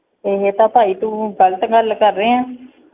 ਏਹ੍ਹ ਤਾਂ ਭਾਈ ਤੂੰ ਗ਼ਲਤ ਗੱਲ ਕਰ ਰਹਿਆ